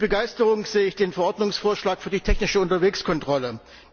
Mit Begeisterung sehe ich den Verordnungsvorschlag für die technische Unterwegskontrolle.